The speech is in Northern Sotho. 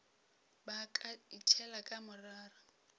ba ka itšhela ka morara